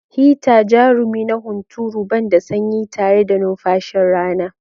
Hita, jarumi na hunturu, ban da sanyi tare da numfashin rana.